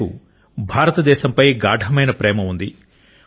ఆయనకు భారతదేశంపై గాఢమైన ప్రేమ ఉంది